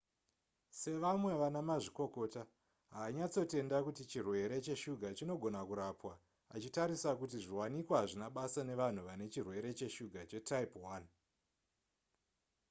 sevamwe vana mazvikokota haanyatsotenda kuti chirwere cheshuga chinogona kurapwa achitarisa kuti zviwanikwa hazvina basa nevanhu vane chirwere cheshuga chetype 1